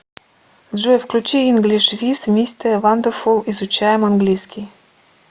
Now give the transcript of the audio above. джой включи инглиш виз мисте вандефул изучаем английский